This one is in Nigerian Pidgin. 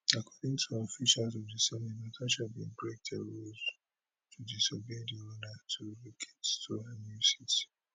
according to officials of di senate natasha bin break dia rules to disobey di order to relocate to her new seat